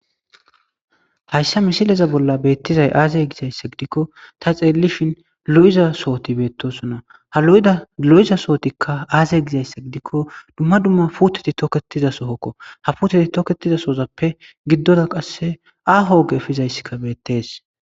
hayssa misileza bolla beettizay aazey gisayssa gidikko ta xeellishin lo7iza sooti beettosona ha lo7iza sootikka aazey gizayssa gidikko dumma dumma puuteti tokketiza sohokko ha puuteti toketiza soozappe giddora qasse aho oge efizayssika beettees